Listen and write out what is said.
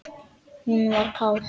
Hún var kát.